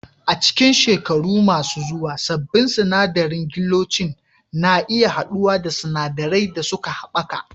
A cikin shekaru masu zuwa, sabbin sinadarin gelocin na iya haɗuwa da sinadarai da suka haɓaka